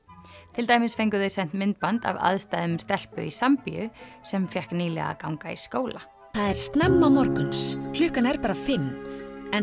til dæmis fengu þau sent myndband af aðstæðum stelpu í sem fékk nýlega að ganga í skóla það er snemma morgun klukkan er bara fimm en